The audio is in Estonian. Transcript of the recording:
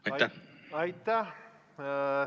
Aitäh!